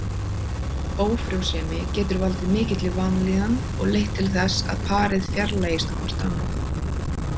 Ófrjósemi getur valdið mikilli vanlíðan og leitt til þess að parið fjarlægist hvort annað.